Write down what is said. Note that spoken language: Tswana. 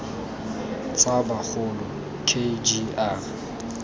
tsa bagolo k g r